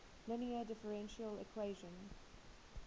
linear differential equation